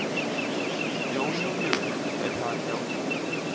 Jón Júlíus: Er það ekki ágætt?